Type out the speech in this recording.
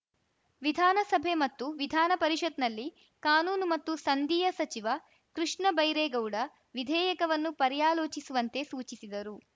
ವಿಧಾನಸಭೆ ಮತ್ತು ವಿಧಾನಪರಿಷತ್‌ನಲ್ಲಿ ಕಾನೂನು ಮತ್ತು ಸಂದೀಯ ಸಚಿವ ಕೃಷ್ಣ ಬೈರೇಗೌಡ ವಿಧೇಯಕವನ್ನು ಪರ್ಯಾಲೋಚಿಸುವಂತೆ ಸೂಚಿಸಿದರು